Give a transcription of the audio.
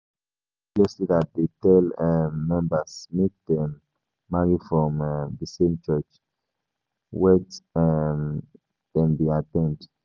Many religious leaders dey tell um members make dem marry from um di same church wet um dem dey at ten d